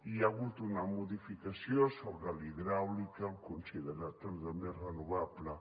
hi ha hagut una modificació sobre la hidràulica al considerar la també renovable